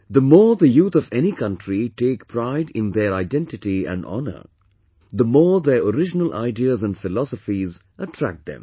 The more the youth of any country take pride in their identity and honour, the more their original ideas and philosophies attract them